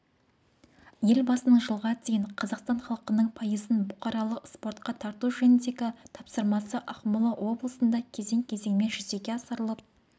елбасының жылға дейін қазақстан халқының пайызын бұқаралық спортқа тарту жөніндегі тапсырмасы ақмола облысында кезең-кезеңмен жүзеге асырылып